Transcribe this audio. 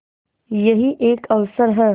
यही एक अवसर है